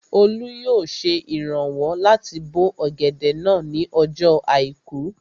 Olú yóò ṣe ìrànwọ́ láti bó ọ̀gẹ̀dẹ̀ náà ní ọjọ́ àìkú